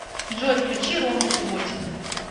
джой включи рому субботина